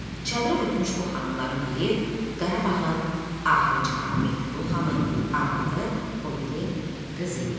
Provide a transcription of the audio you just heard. Çadıra ötmüş bu xanımların biri Qarabağın axırıncı xanı Mehdi Qulu Xanın arvadı, o biri qızı idi.